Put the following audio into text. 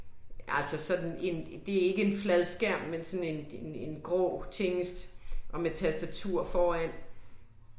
Altså sådan en, det er ikke en fladskærm men sådan en en en grå tingest og med tastatur foran